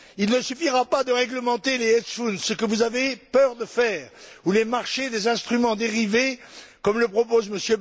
Il ne suffira pas de réglementer les hedge funds ce que vous avez peur de faire ou les marchés des instruments dérivés, comme le propose M.